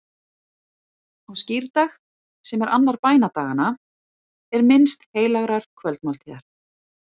Á skírdag, sem er annar bænadaganna, er minnst heilagrar kvöldmáltíðar.